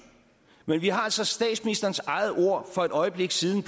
men vi har altså statsministerens egne ord for et øjeblik siden